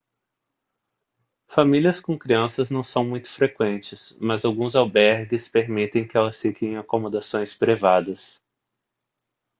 famílias com crianças não são muito frequentes mas alguns albergues permitem que elas fiquem em acomodações privadas